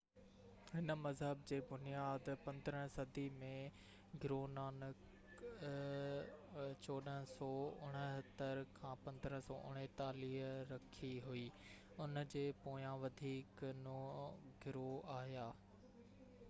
هن مذهب جي بنياد 15 صدي ۾ گرونانڪ 1469–1539 رکي هئي. ان جي پويان وڌيڪ نو گرو آيا